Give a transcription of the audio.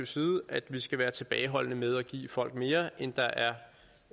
side at vi skal være tilbageholdende med at give folk mere end hvad der er